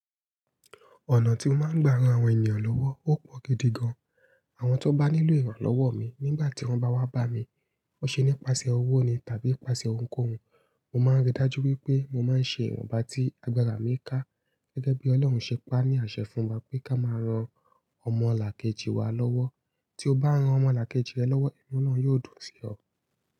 Ọ̀nà tí n máa ń gbà ran àwọn ènìyàn lọ́wọ́ ó pọ̀ gidi gan. Àwọn tó bá nílò ìrànlọ́wọ́ mi nígbà tí wọ́n bá wá bá mi, ó ṣe nípasẹ̀ owó ni tàbí pasẹ̀ ounkóun. Mo máa ń rí dájú wípé mo máa ń ṣe ìwọn ba tí agbára mi ká. Gẹ́gẹ́ bí Ọlọ́run ṣe pa á ní àṣẹ fún wa pé ká máa ran ọmọ làkejì wa lọ́wọ́. Tí o bá ran ọmọ làkejì rẹ lọ́wọ́, ìnu ọlọrun yóò dùn sí ọ.